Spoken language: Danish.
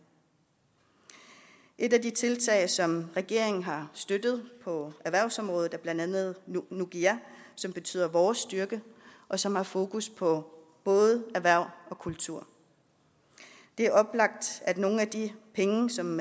et af de tiltag som regeringen har støttet på erhvervsområdet er blandt andet nukiga som betyder vores styrke og som har fokus på både erhverv og kultur det er oplagt at nogle af de penge som